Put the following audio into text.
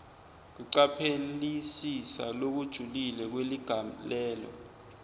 kucaphelisisa lokujulile kweligalelo